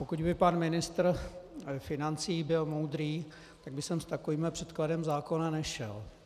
Pokud by pan ministr financí byl moudrý, tak by sem s takovým předkladem zákona nešel.